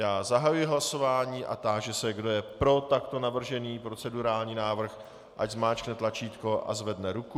Já zahajuji hlasování a táži se, kdo je pro takto navržený procedurální návrh, ať zmáčkne tlačítko a zvedne ruku.